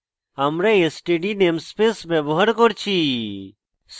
আমরা std namespace ব্যবহার করেছি